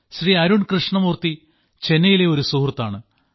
ശ്രീ അരുൺ കൃഷ്ണമൂർത്തി ചെന്നൈയിലെ ഒരു സുഹൃത്താണ്